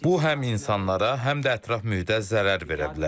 Bu həm insanlara, həm də ətraf mühitə zərər verə bilər.